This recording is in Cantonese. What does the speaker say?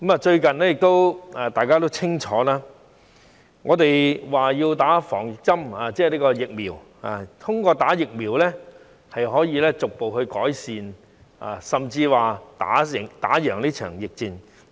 最近，大家都說要注射疫苗，認為通過注射疫苗，可以逐步改善甚至戰勝這場疫戰。